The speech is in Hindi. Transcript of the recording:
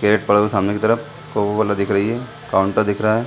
केक पड़ल है सामने की तरफ को वाला दिख रही है काउंटर दिख रहा हैं |